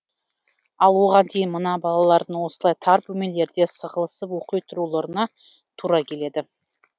ал оған дейін мына балалардың осылай тар бөлмелерде сығылысып оқи тұруларына тура келеді